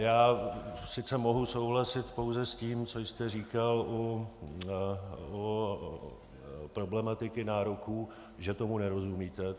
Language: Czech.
Já sice mohu souhlasit pouze s tím, co jste říkal u problematiky nároků, že tomu nerozumíte.